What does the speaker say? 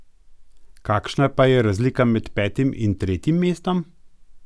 Kakšna pa je razlika med petim in tretjim mestom?